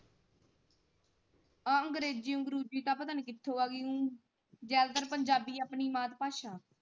ਆਹ ਅੰਗ੍ਰੇਜ਼ੀ ਅੰਗਰੂਜੀ ਪਤਾ ਨੀ ਕਿਥੋਂ ਆਗੀ ਜਿਆਦਾਤਰ ਪੰਜਾਬੀ ਆਪਣੀ ਮਾਤ ਭਾਸ਼ਾ।